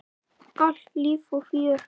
Alltaf líf og fjör.